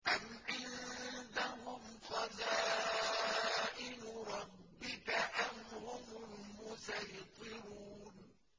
أَمْ عِندَهُمْ خَزَائِنُ رَبِّكَ أَمْ هُمُ الْمُصَيْطِرُونَ